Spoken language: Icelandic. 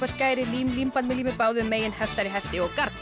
skæri lím límband með lími báðum megin heftari hefti og garn